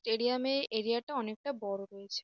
Stadium -এ area -টা অনেকটা বড় রয়েছে।